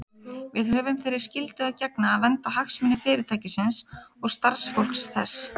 Við höfum þeirri skyldu að gegna að vernda hagsmuni Fyrirtækisins og starfsfólks þess.